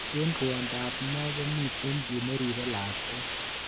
Eng rwondo ab moo komitei ki neribei lakwet.